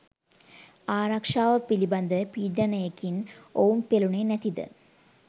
ආරක්ෂාව පිළිබඳ පීඩනයකින් ඔවුන් පෙලුනේ නැතිද?